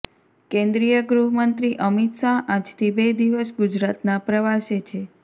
કેન્દ્રીય ગૃહ મંત્રી અમિત શાહ આજથી બે દિવસ ગુજરાતના પ્રવાસે છે